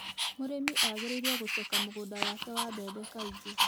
Mũrĩmi agĩrĩirwo gũceka mũgũnda wake wa mbembe kaingĩ.